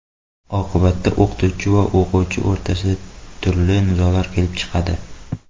Oqibatda o‘qituvchi va o‘quvchi o‘rtasida turli nizolar kelib chiqadi.